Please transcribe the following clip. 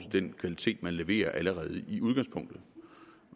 den kvalitet man leverer allerede i udgangspunktet